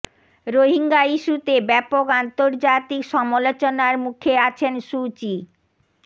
রোহিঙ্গা ইস্যুতে ব্যাপক আন্তর্জাতিক সমালোচনার মুখে আছেন সু চি